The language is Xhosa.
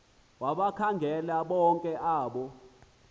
wabakhangela bonke abo